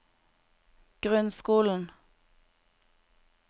grunnskolen